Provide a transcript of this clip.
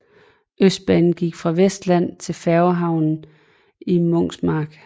Østbanen gik fra Vesterland til færgehavnen i Munkmarsk